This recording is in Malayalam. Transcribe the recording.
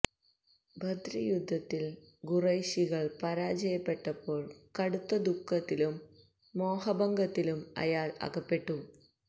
ബദ്ര് യുദ്ധത്തില് ഖുറൈശികള് പരാജയപ്പെട്ടപ്പോള് കടുത്ത ദുഃഖത്തിലും മോഹഭംഗത്തിലും അയാള് അകപ്പെട്ടു